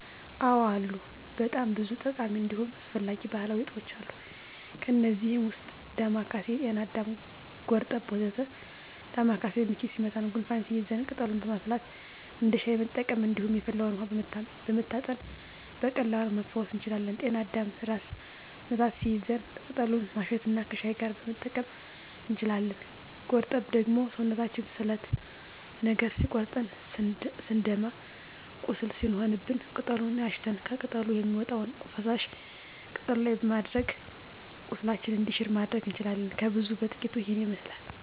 አዎ አሉ በጣም ብዙ ጠቃሚ እንዲሁም አስፈላጊ ባህላዊ እፅዋቶች አሉ። ከእነዚህም ውስጥ ዳማካሴ፣ ጤናአዳም፣ ጎርጠብ ወ.ዘ.ተ ዳማካሴ ምች ሲመታን ጉንፋን ሲይዘን ቅጠሉን በማፍላት እንደ ሻይ መጠቀም እንዲሁም የፈላውን ውሀ በመታጠን በቀላሉ መፈወስ እንችላለን። ጤና አዳምም ራስ ምታት ሲይዘን ቅጠሉን ማሽት እና ከሻይ ጋር መጠቀም እንችላለን። ጎርጠብ ደግሞ ሰውነታችንን ስለት ነገር ሲቆርጠን ስንደማ ቁስል ሲሆንብን ቅጠሉን አሽተን ከቅጠሉ የሚወጣውን ፈሳሽ ቁስሉ ላይ በማድረግ ቁስላችን እንዲሽር ማድረግ እንችላለን። ከብዙ በጥቂቱ ይሄንን ይመስላል።